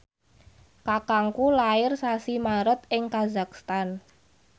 kakangku lair sasi Maret ing kazakhstan